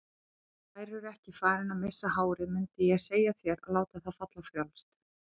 Værirðu ekki farinn að missa hárið mundið ég segja þér að láta það falla frjálst.